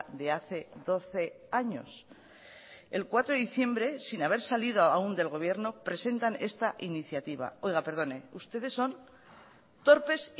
de hace doce años el cuatro de diciembre sin haber salido aún del gobierno presentan esta iniciativa oiga perdone ustedes son torpes